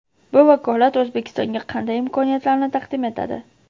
Bu vakolat O‘zbekistonga qanday imkoniyatlarni taqdim etadi?.